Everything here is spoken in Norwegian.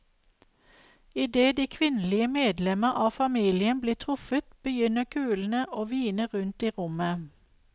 Idet de kvinnelige medlemmer av familien blir truffet, begynner kulene å hvine rundt i rommet.